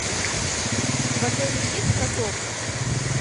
в отеле есть каток